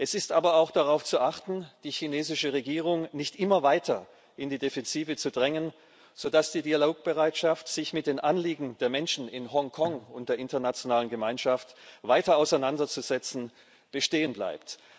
Es ist aber auch darauf zu achten, die chinesische Regierung nicht immer weiter in die Defensive zu drängen, sodass die Dialogbereitschaft, sich mit den Anliegen der Menschen in Hongkong und der internationalen Gemeinschaft weiter auseinanderzusetzen, bestehen bleibt.